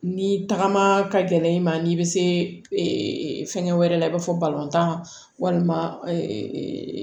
Ni tagama ka gɛlɛn i ma n'i bɛ se fɛnkɛ wɛrɛ la i b'a fɔ tan walima